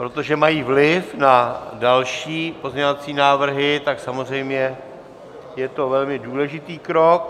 Protože mají vliv na další pozměňovací návrhy, tak samozřejmě je to velmi důležitý krok.